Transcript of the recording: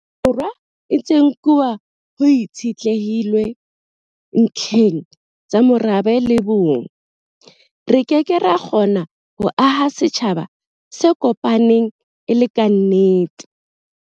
Borwa e ntse e nkuwa ho itshitlehilwe ntlheng tsa morabe le bong, re ke ke ra kgona ho aha setjhaba se kopaneng e le kannete.